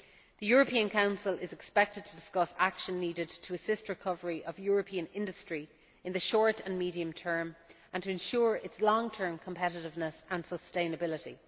The European Council is expected to discuss action needed to assist recovery of European industry in the short and medium term and to ensure its long term competitiveness and sustainability.